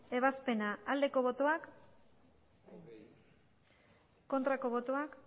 ebazpena aldeko botoak aurkako botoak